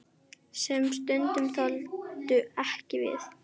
Sem stundum þoldu ekki við.